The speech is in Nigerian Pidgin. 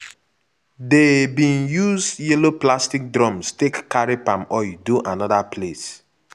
dey bin use yellow plastic drums take carry palm oil do anoda place.